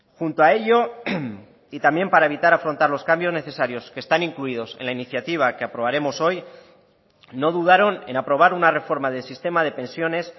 junto a ello y también para evitar afrontar los cambios necesarios que están incluidos en la iniciativa que aprobaremos hoy no dudaron en aprobar una reforma del sistema de pensiones